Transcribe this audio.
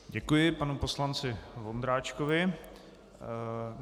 Děkuji panu poslanci Vondráčkovi.